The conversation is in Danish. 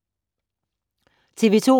TV 2